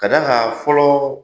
K'a d'a kan fɔlɔ